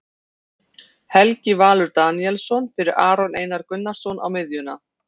Helgi Valur Daníelsson fyrir Aron Einar Gunnarsson á miðjuna.